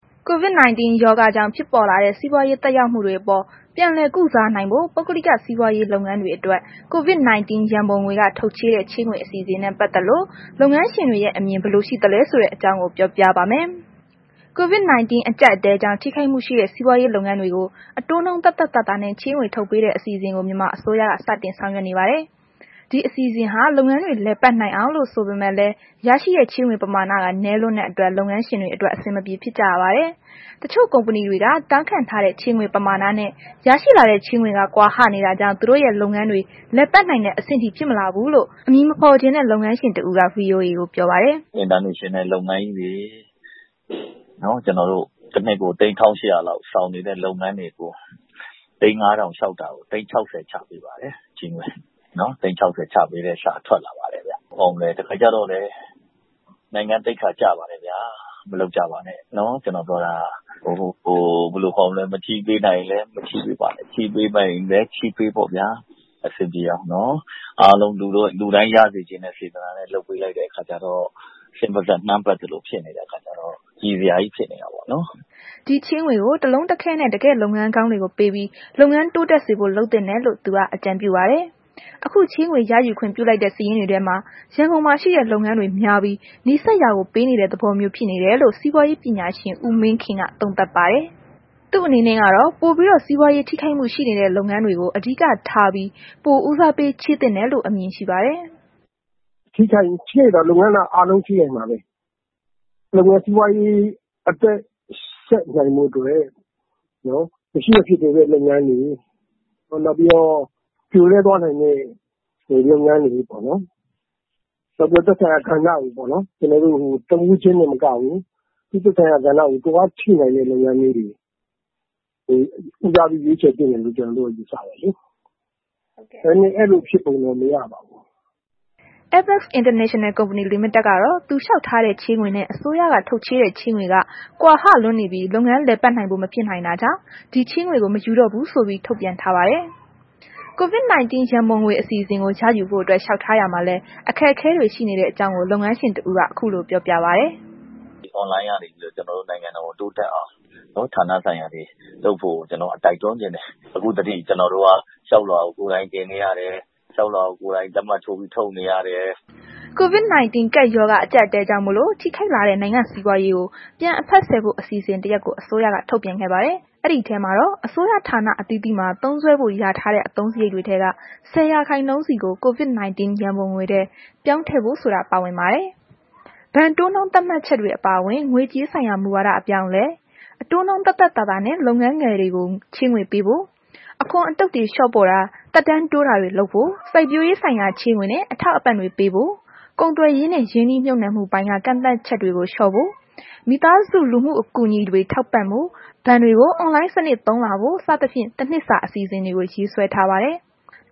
COVID-19 ရောဂါကြောင့် ဖြစ်ပေါ်လာတဲ့ စီးပွားရေးသက်ရောက်မှုတွေအပေါ် ပြန်လည်ကုစားနိုင်ဖို့ ပုဂ္ဂလိက စီးပွားရေးလုပ်ငန်းတွေအတွက် COVID-19 ရန်ပုံငွေက ထုတ်ချေးတဲ့ ချေးငွေ အစီအစဉ်နဲ့ ပတ်သက်လို့ လုပ်ငန်းရှင်တွေရဲ့ အမြင်ဘယ်လိုရှိသလဲဆိုတဲ့ အကြောင်း ဗွီအိုအေ မြန်မာပိုင်းသတင်းထောက် မအိမ့်သန္တာထွန်းက ပြောပြပါမယ်။ COVID-19 အကြပ်အတည်းကြောင့် ထိခိုက်မှုရှိတဲ့ စီးပွားရေးလုပ်ငန်းတွေကို အတိုးနှုန်း သက်သက်သာသာနဲ့ ချေးငွေထုတ်ပေးတဲ့ အစီအစဉ်ကို မြန်မာအစိုးရက စတင်ဆောင်ရွက်နေပါတယ်။ ဒီအစီအစဉ်ဟာ လုပ်ငန်းတွေ လည်ပတ်နိုင်အောင်လို့ ဆိုပေမဲ့လည်း ရရှိတဲ့ ချေးငွေပမာဏက နည်းလွန်းတဲ့အတွက် လုပ်ငန်းရှင်တွေအတွက် အဆင်မပြေဖြစ်ကြရပါတယ်။ တချို့ ကုမ္ပဏီတွေက တောင်းခံထားတဲ့ ချေးငွေပမာဏနဲ့ ရရှိလာတဲ့ ချေးငွေက ကွာဟနေတာကြောင့် သူတို့ရဲ့ လုပ်ငန်းတွေ လည်ပတ်နိုင်တဲ့ အဆင့်ထိ ဖြစ်မလာဘူးလို့အမည်မဖော်ချင်တဲ့ လုပ်ငန်းရှင်တစ်ဦးက VOA ကို ပြောပါတယ်။ “အင်တာနယ်ရှင်နယ် လုပ်ငန်းကြီးတွေ တနှစ်ကို သိန်း ၁,၈၀၀ လောက် အခွန်ဆောင်နေတဲ့ လုပ်ငန်းတွေကို သိန်း ၅,၀၀၀ လျှောက်တာကို သိန်း ၆၀ ချပေးတယ်။ သိန်း ၆၀ ချပေးတဲ့ စာထွက်လာပါတယ်ဗျ။ ဘယ်လိုပြောရလဲ နိုင်ငံသိက္ခာကျပါတယ်ဗျာ၊ မလုပ်ကြပါနဲ့။ ကျွန်တော်ပြောတာက မချေးပေးနိုင်ရင်လည်း မချေးပေးပါနဲ့၊ ချေးပေးနိုင်ရင်လည်း ချေးပေးပေါ့ဗျာ အဆင်ပြေအောင်နော်။ အားလုံးလူတိုင်း ရစေချင်တဲ့ စေတနာနဲ့ လုပ်လိုက်တဲ့ အခါကျတော့ ဆင်ပါးစပ် နှမ်းပက်သလို ဖြစ်နေတဲ့ အခါကျတော့ ရီစရာကြီးဖြစ်နေတာပေါ့နော်။ ” ဒီချေးငွေကို တလုံးတခဲနဲ့ တကယ့် လုပ်ငန်းကောင်းတွေကိုပေးပြီး လုပ်ငန်းတိုးတက်စေဖို့လုပ်သင့်တယ်လို့ သူက အကြံပြုပါတယ်။ အခု ချေးငွေ ရယူခွင့်ပြုလိုက်တဲ့ စာရင်းတွေထဲမှာ ရန်ကုန်မှာ ရှိတဲ့ လုပ်ငန်းတွေများပြီး နီးစပ်ရာကို ပေးနေတဲ့ သဘောမျိုးဖြစ်နေတယ်လို့ စီးပွားရေးပညာရှင် ဦးမင်းခင်က သုံးသပ်ပါတယ်။ သူ့အနေနဲ့ကတော့ ပိုပြီးတော့ စီးပွားရေးထိခိုက်မှုရှိနေတဲ့ လုပ်ငန်းတွေကို အဓိက ထားပြီး ပိုဦးစားပေး ချေးသင့်တယ်လို့ အမြင်ရှိပါတယ်။ “ထိခိုက်တာတော့ လုပ်ငန်းအားလုံးထိခိုက်မှာပဲ မြန်မြန် စီပွားရေး အသက်ဆက်နိုင်ဖို့အတွက် မရှိမဖြစ်လိုအပ်တဲ့ လုပ်ငန်းတွေ နောက်ပြီးတော့ ပြိုလဲသွားနိုင်တဲ့ လုပ်ငန်းတွေပေါ့နှော်။ နောက်ပြီးတော့ သက်ဆိုင်ရာ ဌာနတွေပေါ့၊ တစ်ဦးချင်းမကဘူးလေ သက်ဆိုင်ရာ ဌာနတွေက လုပ်ငန်းအားဖြည့်နိုင်တဲ့ လုပ်ငန်းမျိုးတွေကို ဦးစားပေး ရွေးချယ်သင့်တယ်လို့ ကျွန်တော်တို့က ယူဆတယ်လေ။ ဒါပေမဲ့ အဲ့လို ဖြစ်ပုံတော့ မရပါဘူး။” Apex International Company Limited ကတော့ သူလျှောက်ထားတဲ့ ချေးငွေနဲ့ အစိုးရက ထုတ်ချေးတဲ့ ချေးငွေက ကွာဟလွန်းပြီး လုပ်ငန်းလည်ပတ်နိုင်ဖို့မဖြစ်နိုင်တာကြောင့် ဒီချေးငွေကို မယူတော့ဘူးဆိုပြီး ထုတ်ပြန်ထားပါတယ်။ COVID ရန်ပုံငွေအစီအစဉ်ကို ရယူဖို့အတွက် လျှောက်ထားရာမှာလည်း အခက်အခဲတွေ ရှိနေတဲ့ အကြောင်းကို လုပ်ငန်းရှင်တစ်ဦးက ခုလို ပြောပြပါတယ်။ “အွန်လိုင်းကနေပြီးတော့ ကျနော်တို့နိုင်ငံတော်ကိုတိုးတက်အောင် ဌာနဆိုင်ရာတွေက လုပ်ဖို့ကို ကျနော်တို့တိုက်တွန်းချင်တယ်။ အခုထက်ထိ ကျနော်တို့က လျှောက်လွှာကို ကိုယ်တိုင်တင်နေရတယ်။ လျှောက်လွှာကိုကိုယ်တိုင် လက်မှတ်ထိုးပြီး ထုတ်နေရတယ်။ ” COVID-19 ကပ်ရောဂါအကြပ်အတည်းကြောင့်မို့လို့ ထိခိုက်လာတဲ့ နိုင်ငံ့စီးပွားရေးကို ပြန်အဖက်ဆယ်ဖို့ အစီအစဉ်တရပ်ကိုလည်း အစိုးရက ထုတ်ပြန်ခဲ့ပါတယ်။ အဲဒီထဲမှာတော့ အစိုးရဌာနအသီးသီးမှာ သုံးစွဲဖို့လျာထားတဲ့ အသုံးစရိတ်ထဲက ၁၀ ရာခိုင်နှုန်းစီကို COVID-19 ရန်ပုံငွေထဲ ပြောင်းထည့်ဖို့ ဆိုတာပါဝင်ပါတယ်။ ဘဏ်တိုးနှုန်းသတ်မှတ်ချက်တွေအပါအဝင် ငွေကြေးဆိုင်ရာ မူဝါဒအပြောင်းအလဲ၊ အတိုးနှုန်းသက်သက်သာသာနဲ့ လုပ်ငန်းငယ်တွေကို ချေးငွေပေးဖို့၊ အခွန်အတုတ်တွေ လျှော့ပေါ့တာ သက်တမ်းတိုးတာတွေ လုပ်ဖို့၊ စိုက်ပျိုးရေးဆိုင်ရာချေးငွေနဲ့အထောက်အပံ့တွေပေးဖို့၊ ကုန်သွယ်ရေးနဲ့ ရင်းနှီးမြှုပ်နှံမှုပိုင်းက ကန့်သတ်ချက်တွေလျှော့ဖို့၊ မိသားစု လူမှုအကူအညီတွေထောက်ပံ့ဖို့၊ ဘဏ်တွေကို အွန်လိုင်းစနစ်သုံးလာဖို့ စသဖြင့် တနှစ်စာ အစီအစဉ်တွေ ရေးဆွဲထားပါတယ်။